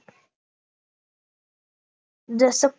जसं